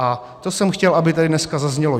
A to jsem chtěl, aby tady dneska zaznělo.